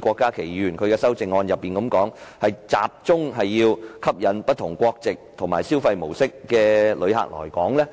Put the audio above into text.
郭家麒議員的修正案提到，我們應否集中吸引不同國籍及消費模式的旅客來港呢？